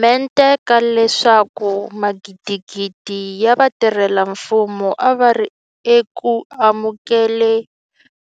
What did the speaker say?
Mente ka leswaku magidigidi ya vatirhela mfumo a va ri eku amukele